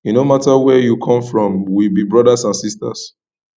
e no mata where you come from we be brodas and sistas